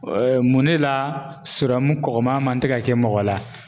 mun de la sɔrɔmu kɔgɔma man tɛ ka kɛ mɔgɔ la.